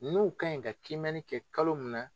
N'u ka ɲi ka kiimɛni kɛ kalo min na